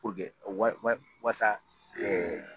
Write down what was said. Puruke wa wa wasa